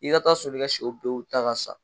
I ka taa sɔrɔ i ka sɛw bɛɛ y'u da ka sa